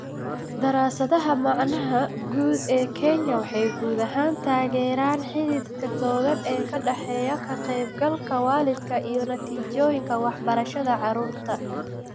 Daraasadaha macnaha guud ee Kenya waxay guud ahaan taageeraan xidhiidhka togan ee ka dhexeeya ka qaybgalka waalidka iyo natiijooyinka waxbarashada carruurta.